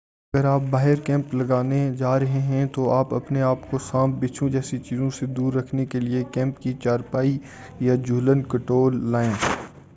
اگر آپ باہر کیمپ لگانے جارہے ہیں تو آپ اپنے آپ کو سانپ بچھو جیسی چیزوں سے دور رکھنے کے لئے کیمپ کی چارپائی یا جہولن کہٹول لائیں